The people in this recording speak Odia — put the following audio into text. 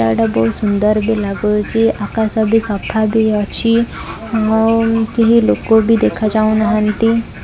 ଇଆଡ଼େ ବହୁତ୍ ସୁନ୍ଦର ବି ଲାଗୁଚି ଆକାଶ ବି ସଫା ବି ଅଛି ମୋ କେହେ ଲୋକ ବି ଦେଖାଯାଉ ନାହାଁନ୍ତି।